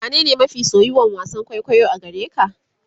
wane ne mafi soyuwan wasan kwaikwayo a gareka?